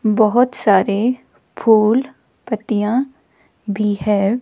बहोत सारे फूल पत्तियां भी हैं।